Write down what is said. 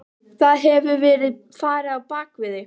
Það hefur verið farið á bak við þig.